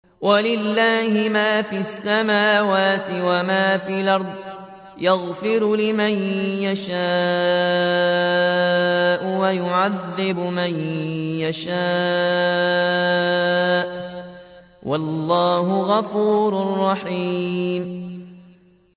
وَلِلَّهِ مَا فِي السَّمَاوَاتِ وَمَا فِي الْأَرْضِ ۚ يَغْفِرُ لِمَن يَشَاءُ وَيُعَذِّبُ مَن يَشَاءُ ۚ وَاللَّهُ غَفُورٌ رَّحِيمٌ